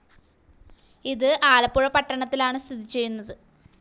ഇത് ആലപ്പുഴ പട്ടണത്തിലാണ് സ്ഥിതി ചെയ്യുന്നത്.